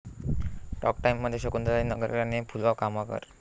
talk टाइममध्ये शकुंतलाताई नगरकर आणि फुलवा खामकर